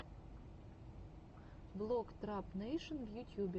влог трап нэйшн в ютьюбе